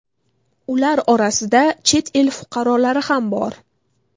Ular orasida chet el fuqarolari ham bor.